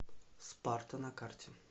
спарта на карте